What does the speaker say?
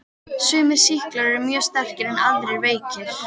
Sumir sýklar eru mjög sterkir en aðrir veikir.